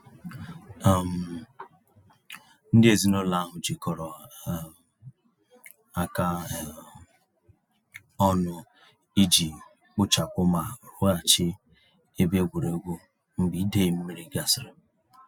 um Ndị ezinụlọ ahụ jikọrọ um aka um ọnụ iji kpochapụ ma rụghachi ebe egwuregwu mgbe idei mmiri gasịrị.